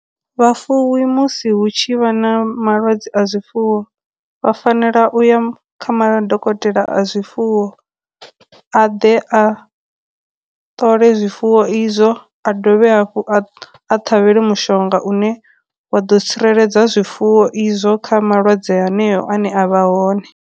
Vhafuwi musi hu tshi vha na malwadze a zwifuwo vha fanela u ya kha madokotela a zwifuwo a ḓe a ṱole zwifuwo izwo, a dovhe hafhu a ṱhavhele mushonga une wa ḓo tsireledza zwifuwo izwo kha malwadze haneyo ane a vha hone.